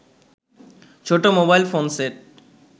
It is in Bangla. ছোট মোবাইল ফোন সেট